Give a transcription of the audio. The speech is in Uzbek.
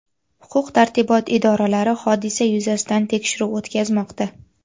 Huquq-tartibot idoralari hodisa yuzasidan tekshiruv o‘tkazmoqda.